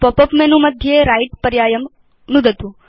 pop up menu मध्ये right पर्यायं नुदतु